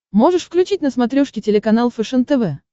можешь включить на смотрешке телеканал фэшен тв